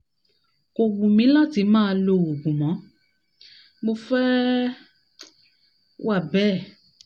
kò wù mí láti máa lo oògùn mọ́ mo fẹ́ um wà bẹ́ẹ̀